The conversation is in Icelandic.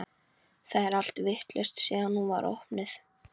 Það er allt vitlaust síðan hún var opnuð.